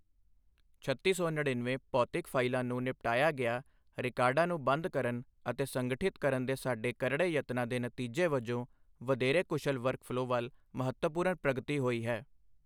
ਛੱਤੀ ਸੌ ਨੜੀਨਵੇਂ ਭੌਤਿਕ ਫਾਈਲਾਂ ਨੂੰ ਨਿਪਟਾਇਆ ਗਿਆ ਰਿਕਾਰਡਾਂ ਨੂੰ ਬੰਦ ਕਰਨ ਅਤੇ ਸੰਗਠਿਤ ਕਰਨ ਦੇ ਸਾਡੇ ਕਰੜੇ ਯਤਨਾਂ ਦੇ ਨਤੀਜੇ ਵਜੋਂ ਵਧੇਰੇ ਕੁਸ਼ਲ ਵਰਕਫਲੋਅ ਵੱਲ ਮਹੱਤਵਪੂਰਨ ਪ੍ਰਗਤੀ ਹੋਈ ਹੈ।